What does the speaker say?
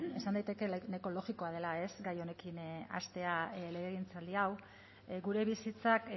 bueno esan daiteke nahiko logikoa dela gai honekin hastea legegintzaldi hau gure bizitzak